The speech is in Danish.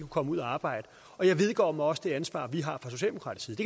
komme ud at arbejde og jeg vedgår mig også det ansvar vi har fra socialdemokratisk